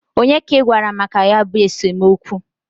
Onye ka I gwara maka ya bụ esemokwu?